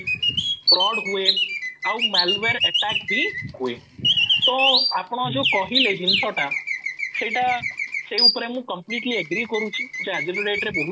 fraud ହୁଏ ଆଉ malware attack ବି ହୁଏ ତ ଆପଣ ଯୋଉ କହିଲେ ସେଇ ଜିନିଷ ଟା ସେଇଟା ସେଇ ଉପରେ ମୁଁ completely agree କରୁଛି ଯେ ଆଜିର date ରେ